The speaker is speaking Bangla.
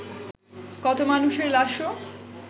কত মানুষের লাশও